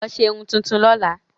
Lọ ṣe irun tuntun lọ́la!